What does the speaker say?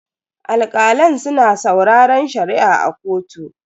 Alkalan suna sauraren Shari'a a kotu.